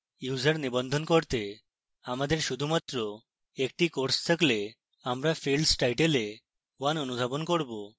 user নিবন্ধন করতে আমাদের শুধুমাত্র একটি course থাকলে আমরা fields title we 1 অনুধাবন করব